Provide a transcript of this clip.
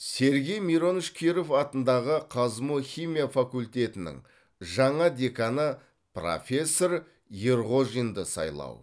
сергей миронович киров атындағы қазму химия факультетінің жаңа деканы профессор ерғожинды сайлау